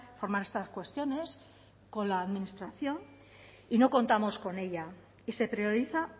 formar estas cuestiones con la administración y no contamos con ella y se prioriza